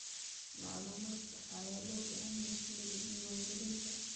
Macluumaad sax ah ayaa loo baahan yahay xilliga diiwaangelinta.